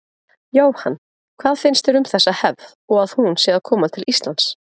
Jóhann: Hvað finnst þér um þessa hefð og að hún sé að koma til Íslands?